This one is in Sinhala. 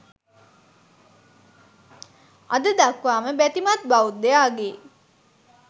අද දක්වාම බැතිමත් බෞද්ධයාගේ